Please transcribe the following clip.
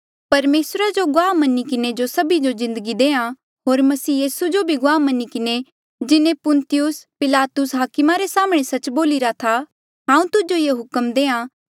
परमेसरा जो गुआह मनी किन्हें जो सभी जो जिन्दगी देहां होर मसीह यीसू जो भी गुआह मनी किन्हें जिन्हें पुन्तियुस पिलातुस हाकमा रे साम्हणें सच्च बोलिरा था हांऊँ तुजो ये हुक्म देहां